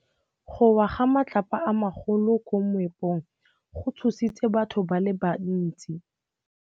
Go wa ga matlapa a magolo ko moepong go tshositse batho ba le bantsi.